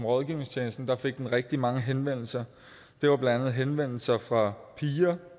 rådgivningstjeneste rigtig mange henvendelser det var blandt andet henvendelser fra piger